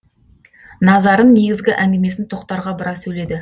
назарын негізгі әңгімесін тоқтарға бұра сөйледі